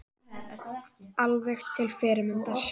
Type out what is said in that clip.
Alveg til fyrirmyndar